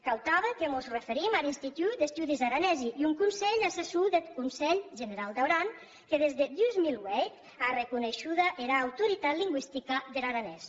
cau tanben que mos referim ar institut d’estudis aranesi un conselh assessor deth conselh generau d’aran que des deth dos mil vuit a arreconeishuda era autoritat lingüistica der aranés